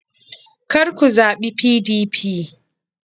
kar ku zaɓi PDP!